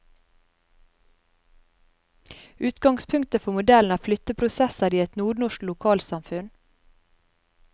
Utgangspunktet for modellen er flytteprosesser i et nordnorsk lokalsamfunn.